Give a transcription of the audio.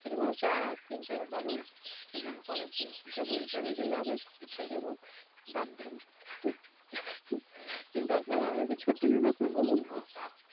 চার তিন চার বারো সেই দেখো অনেক দিন হিসাব ওই হিসাবে গেলে আবার পিছায়ে যাবো বাদ দেন কিন্তু আপনারা আমাকে ছত্রিশ বছর বললে